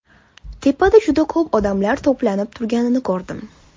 Tepada juda ko‘p odamlar to‘planib turganini ko‘rdim.